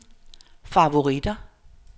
favoritter